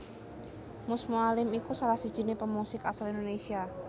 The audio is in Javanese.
Mus Mualim iku salah sijiné pemusik asal Indonesia